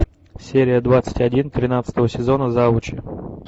серия двадцать один тринадцатого сезона завуч